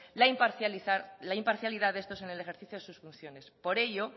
la imparcialidad de estos en el ejercicio de sus funciones por ello